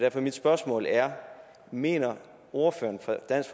at mit spørgsmål er mener ordføreren fra dansk